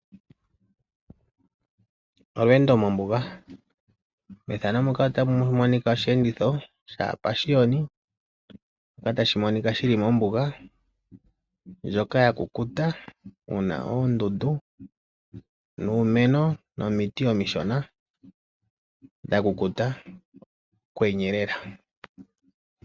Olweendo mombuga! Osheenditho shaapashiyoni shili mombuga ndjoka yakukuta muna oondundu nuumeno nomiti omishona dhakukuta kwenyelela.